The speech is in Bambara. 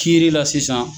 Kiiri la sisan